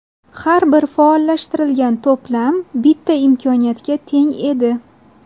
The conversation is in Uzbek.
Har bir faollashtirilgan to‘plam bitta imkoniyatga teng edi.